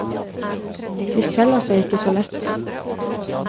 De selger seg ikke så lett.